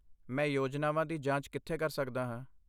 ਮੈਂ ਯੋਜਨਾਵਾਂ ਦੀ ਜਾਂਚ ਕਿੱਥੇ ਕਰ ਸਕਦਾ ਹਾਂ?